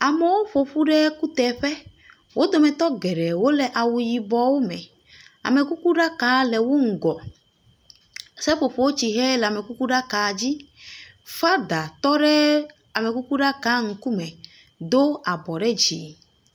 Amewo ƒoƒu ɖe kuteƒe. Wo dometɔ wo le awu yibɔwo me. Amekukuɖaka le woƒe ŋgɔ. Seƒoƒo tsihɛ la amekukuɖaka dzi. Fada tɔ ɖe amekukuɖaka ŋkume do abɔ ɖe dzi.